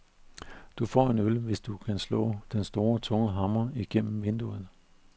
Du får en øl, hvis du kan slå den store, tunge hammer gennem vinduet.